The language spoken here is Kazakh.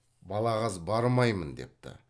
балағаз бармаймын депті